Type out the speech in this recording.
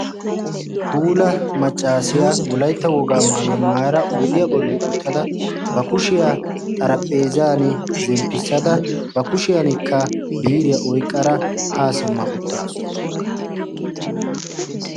puula maccaasiyaa wolaytta wogaa maayo maara oiydiyaa bolli uttada ba kushiyaa xaraphpheezan zemppissada ba kushiyankka biiriyaa oiqqara haa simma uttaasu